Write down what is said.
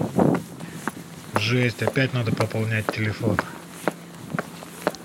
жесть опять надо пополнять телефон